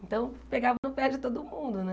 Então, pegava no pé de todo mundo, né?